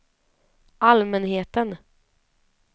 allmänheten